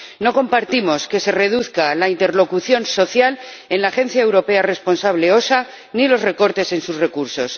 No compartimos que se reduzca la interlocución social en la agencia europea responsable, la EU OSHA, ni los recortes en sus recursos.